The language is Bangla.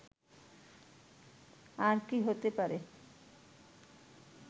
আর কি হতে পারে